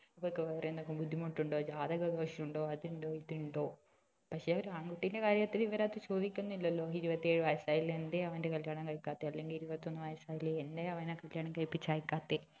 ഇവൾക്ക് വേറെ എന്തെങ്കിലും ബുദ്ധിമുട്ട് ഉണ്ടോ ജാതക ദോഷം ഉണ്ടോ അത് ഉണ്ടോ ഇത് ഉണ്ടോ പക്ഷെ ഒരു ആൺകുട്ടിയുടെ കാര്യത്തിൽ അവർ അത് ചോദിക്കുന്നില്ലലോ ഇരുപത്തി ഏഴ് വയസ് ആയില്ലേ എന്തെ അവന്റെ കല്യാണം കഴിക്കാത്തെ അല്ലങ്കിൽ ഇരുപത്തി ഒന്ന് വയസ് ആയില്ലേ എന്തെ അവന്റെ കല്യാണം കഴിപ്പിച്ച് അയക്കാത്തെ